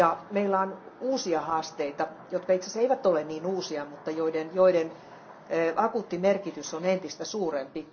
Meillä on uusia haasteita, jotka itse asiassa eivät ole niin uusia, mutta joiden akuutti merkitys on entistä suurempi.